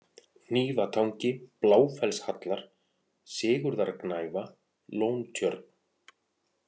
Hnífatangi, Bláfellshallar, Sigurðargnæfa, Lóntjörn